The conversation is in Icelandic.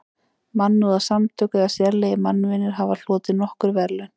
Mannúðarsamtök eða sérlegir mannvinir hafa hlotið nokkur verðlaun.